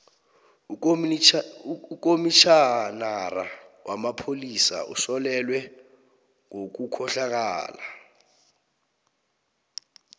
ukomitjhinara wamapholisa usolelwe ngobukhohlakali